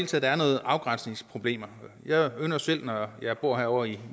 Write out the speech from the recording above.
taget er nogle afgrænsningsproblemer jeg ynder selv når jeg bor herovre i